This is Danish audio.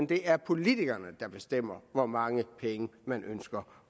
det er politikerne der bestemmer hvor mange penge man ønsker